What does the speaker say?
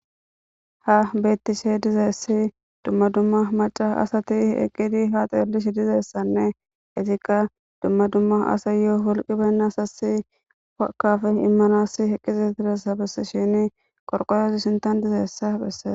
Ha bettishe dizeessi dumma dumma maca asati eqqidi ha xeellish dizeessanne isikka dumma dumma asa yoo wolqi bennasasi fakaf immanassi heqqizi diresabes shini qorqoyozi sintan dizeessa phesse.